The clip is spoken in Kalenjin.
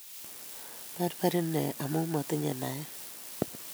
Perber inee amu matinyei naeti